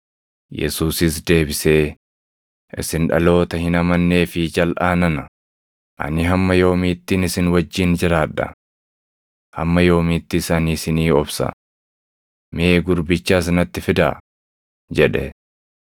Yesuusis deebisee, “Isin dhaloota hin amannee fi jalʼaa nana; ani hamma yoomiittin isin wajjin jiraadha? Hamma yoomiittis ani isinii obsa? Mee gurbicha as natti fidaa!” jedhe.